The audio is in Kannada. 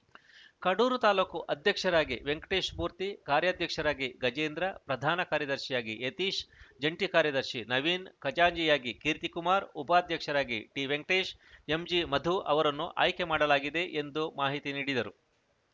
ಕಡೂರು ತಾಲೂಕು ಅಧ್ಯಕ್ಷರಾಗಿ ವೆಂಕಟೇಶ್‌ಮೂರ್ತಿ ಕಾರ್ಯಾಧ್ಯಕ್ಷರಾಗಿ ಗಜೇಂದ್ರ ಪ್ರಧಾನ ಕಾರ್ಯದರ್ಶಿಯಾಗಿ ಯತೀಶ್‌ ಜಂಟಿ ಕಾರ್ಯದರ್ಶಿ ನವೀನ್‌ ಖಜಾಂಚಿಯಾಗಿ ಕೀರ್ತಿಕುಮಾರ್‌ ಉಪಾಧ್ಯಕ್ಷರಾಗಿ ಟಿವೆಂಕಟೇಶ್‌ ಎಂಜಿ ಮಧು ಅವರನ್ನು ಆಯ್ಕೆ ಮಾಡಲಾಗಿದೆ ಎಂದು ಮಾಹಿತಿ ನೀಡಿದರು